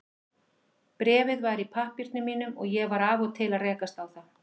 Bréfið var í pappírunum mínum og ég var af og til að rekast á það.